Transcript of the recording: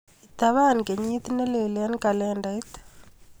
Itapan kenyit nelel eng kalendait.